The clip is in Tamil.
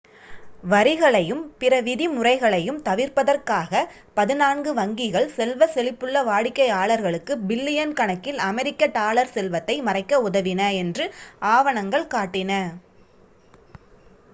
வரிகளையும் பிற விதிமுறைகளையும் தவிர்ப்பதற்காக பதினான்கு வங்கிகள் செல்வ செழிப்புள்ள வாடிக்கையாளர்களுக்கு பில்லியன் கணக்கில் அமெரிக்க டாலர் செல்வத்தை மறைக்க உதவின என்று ஆவணங்கள் காட்டின